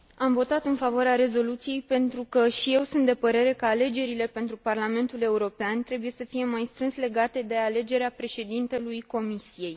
Am votat în favoarea rezoluției, pentru că și eu sunt de părere că alegerile pentru Parlamentul European trebuie să fie mai strâns legate de alegerea președintelui Comisiei.